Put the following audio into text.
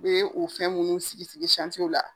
U ye o fɛn minnu sigi sigi la.